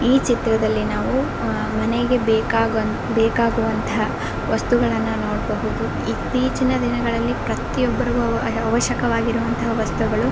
ಈ ಚಿತ್ರದಲ್ಲಿ ನಾವು ಅಹ್ ಮನೆಗೆ ಬೇಕಾಗುವಂತಹ ವಸ್ತುಗಳನ್ನು ನೋಡಬಹುದು ಇತ್ತೀಚಿನ ದಿನಗಳಲ್ಲಿ ಪ್ರತಿಯೊಬ್ಬರಿಗು ಅವಶ್ಯಕವಾಗಿರುವಂತಹ ವಸ್ತುಗಳು.